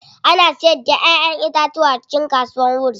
Ana siyar da Ƴaƴan itatuwa a cikin kasuwar wuse.